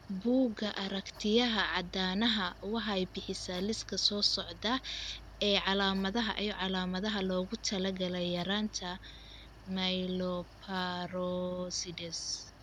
Bugga aragtiyaha aanadanaha waxay bixisaa liiska soo socda ee calaamadaha iyo calaamadaha loogu talagalay yaraanta Myeloperoxidase.